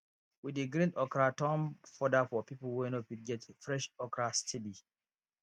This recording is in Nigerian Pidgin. we dey grind okra turn foder for people wey no fit get fresh okra steady